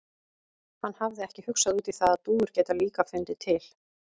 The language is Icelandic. Hann hafði ekki hugsað út í það að dúfur geta líka fundið til.